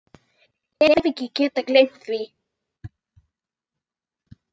Hef ekki getað gleymt því.